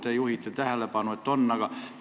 Te juhite tähelepanu, et nii on.